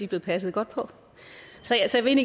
blevet passet godt på så jeg vil